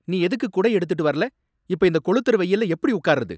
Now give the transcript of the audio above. நீ எதுக்கு குடை எடுத்துட்டு வரல? இப்ப இந்த கொளுத்துற வெயில்ல எப்படி உக்கார்றது ?